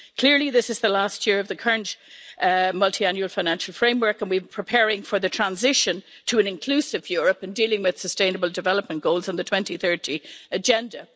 Clearly, this is the last year of the current Multiannual Financial Framework, and we are preparing for the transition to an inclusive Europe and dealing with sustainable development goals on the 2030 agenda.